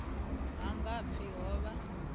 ha nga pfi ho vha